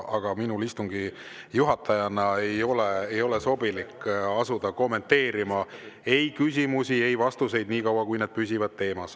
Aga minul istungi juhatajana ei ole sobilik asuda kommenteerima ei küsimusi ega vastuseid, niikaua kui need püsivad teemas.